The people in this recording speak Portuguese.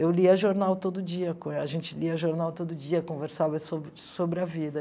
Eu lia jornal todo dia co, a gente lia jornal todo dia, conversava sobre sobre a vida.